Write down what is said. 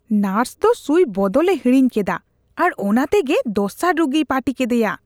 Nurse ᱫᱚ ᱥᱩᱭ ᱵᱚᱫᱚᱞ ᱮ ᱦᱤᱲᱤᱧ ᱠᱮᱫᱟ ᱟᱨ ᱚᱱᱟ ᱛᱮᱜᱮ ᱫᱚᱥᱟᱨ ᱨᱩᱜᱤᱭ ᱯᱟᱹᱴᱤ ᱠᱮᱫᱮᱭᱟ ᱾